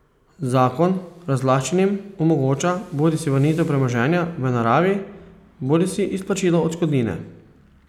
Zakon razlaščenim omogoča bodisi vrnitev premoženja v naravi bodisi izplačilo odškodnine.